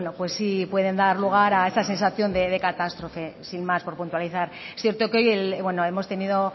pueden dar lugar a esta sensación de catástrofe sin más por puntualizar es cierto que hoy hemos tenido